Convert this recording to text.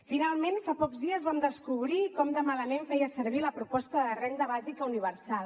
finalment fa pocs dies vam descobrir com de malament feia servir la proposta de renda bàsica universal